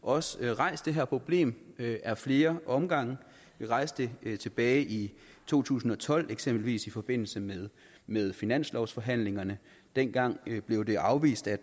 også rejst det her problem ad flere omgange vi rejste det tilbage i to tusind og tolv eksempelvis i forbindelse med med finanslovsforhandlingerne dengang blev det afvist af